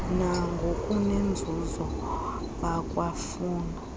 nangokunenzuzo bakwa funa